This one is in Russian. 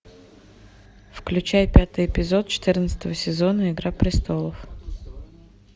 включай пятый эпизод четырнадцатого сезона игра престолов